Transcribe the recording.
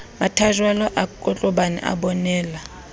mathajwalo a kotlobane a bonela